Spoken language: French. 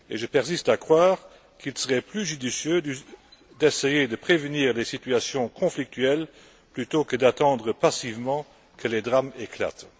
Et je persiste à croire qu'il serait plus judicieux d'essayer de prévenir des situations conflictuelles plutôt que d'attendre passivement que les drames éclatent.